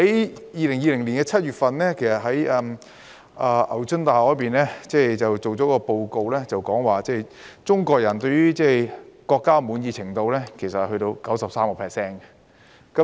在2020年7月，牛津大學發表一份報告，指中國人對於國家的滿意程度達 93%。